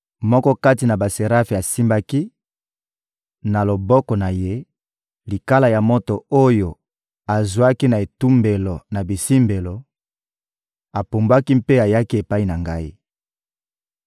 Moko kati na baserafe asimbaki, na loboko na ye, likala ya moto oyo azwaki na etumbelo na bisimbelo, apumbwaki mpe ayaki epai na ngai;